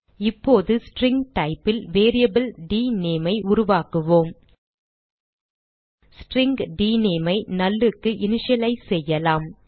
இப்போது string type ல் variable dName ஐ உருவாக்குவோம் ஸ்ட்ரிங் டினேம் ஐ null க்கு இனிஷியலைஸ் செய்யலாம்